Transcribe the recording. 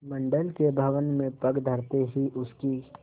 मंडल के भवन में पग धरते ही उसकी